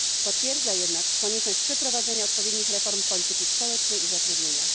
Potwierdza jednak konieczność przeprowadzenia odpowiednich reform polityki społecznej i zatrudnienia.